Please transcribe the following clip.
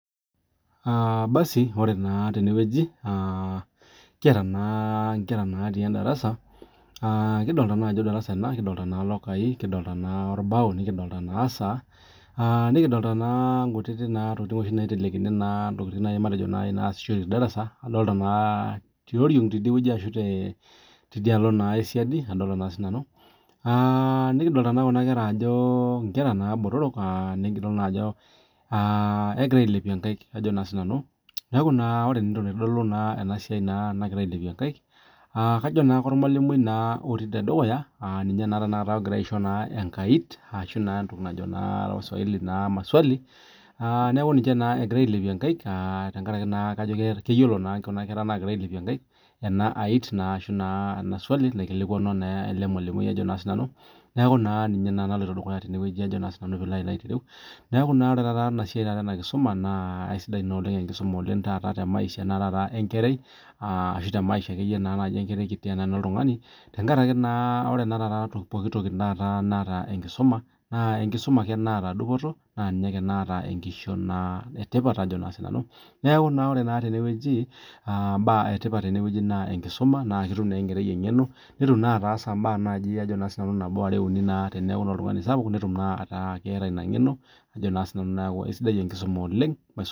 Basi ore naa teneweji kiata naa inkera naati endarasa. Kidolitaa naa ajo endarasa ena, kidolitaa naa ilokai, kidolita na orabu nikidolita na esa. Nikidolita naa kutiti tokitin oshi naitelekini intokitin nai matejo nayasishoreki tee darasa. Adolita naa tiorong idiweji ashu tidialo esiadi adolitaa sii nanu aa nikidolitaa na kuna kera botorok nikidol naa ajo ikidol ilepie inkaik naa sii ninye nanu. Neeku ore naa entoki naitodolu naa ena siai naa na nagira ailepie inkaik, kajo naa kormalimua naa otii tedukuya aa ninyee taa tenakata enkait ashu entoki naa najo wa swahili maswali naa neeku ninche egirai naa ailepie inkaik kajo keyiolo naa kuna kera naa nagira ailepie inkaik ena iat ashu [cs[ swali naikilikuanu ele malimui ajo sii nanu. Neeku ninye naa naloito dukuya teneweji ajo sii nanu peei loo ayolou. Neeku ore taata ena siasi naa ena kisuma naa aisidai ina oleng enkisuma te maisha ee nkerai ashu te maisha enkerai kiti ashu oltungani, tenkaraki naa ore naa taata pokin toki nata enkisuma naa enkisuma ake naata dupoto naa ninye ake naata enkishon etipat ajoo sii nanu. Neeku naa ore teneweji ibaa etipat teneweji naa enkisuma. Naa ketum naa enkerai eng'eno netum naa ataasa ibaa nabo are uni naa teneeku oltung'ani sapuk netum naa ataa keeta ina ng'eno neeku ajo sii ninye nanu aisidai enkisuma oleng'.